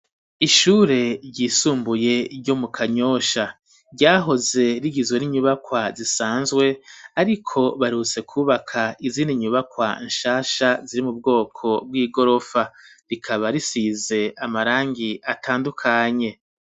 Ishure ryisumbuye ryo mu kanyosha ryahoze rigizwe n'inyubakwa zisanzwe ariko baherutse kubaka izindi nyubakwa nshasha ziri mu bwoko bw'igorofa rikaba risize amarangi atandukanye.